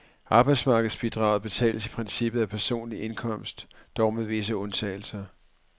Arbejdsmarkedsbidraget betales i princippet af personlig indkomst, dog med visse undtagelser.